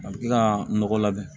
A bɛ kila ka nɔgɔ labɛn